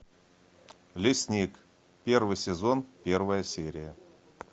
лесник первый сезон первая серия